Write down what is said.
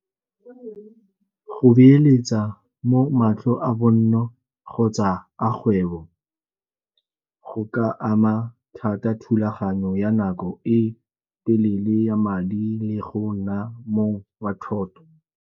Go beeletsa mo matlo a bonno kgotsa a kgwebo go ka ama thata thulaganyo ya nako e telele ya madi le go nna mo wa thoto.